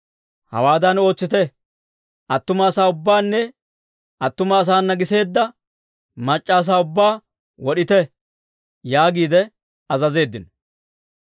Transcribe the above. Hawaadan ootsite; attuma asaa ubbaanne attuma asaana giseedda mac'c'a asaa ubbaa wod'ite» yaagiide azazeeddino.